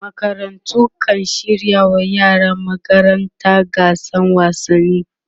makarantu kan shirya wa yaran magaranta gasan wasanni